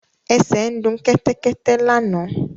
Ẹsẹ ń du Kẹ́tẹ́kẹ́tẹ́ lànà.